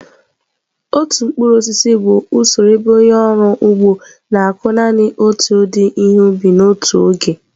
Otu mkpụrụ osisi bụ usoro ebe onye ọrụ ugbo na-akụ naanị otu ụdị ihe ubi n'otu oge.